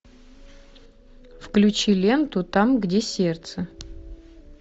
включи ленту там где сердце